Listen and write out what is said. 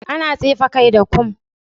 Ana tsefe kai da kum.